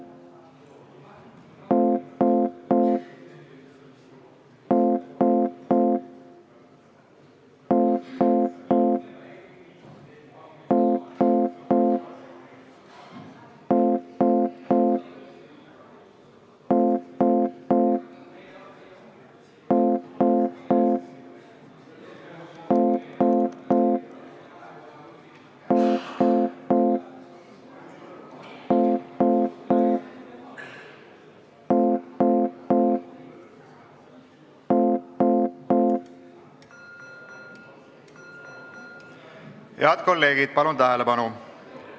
Head kolleegid, palun tähelepanu!